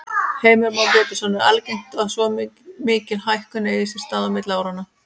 Heimir Már Pétursson: Er algengt að svo mikil hækkun eigi sér stað á milli áranna?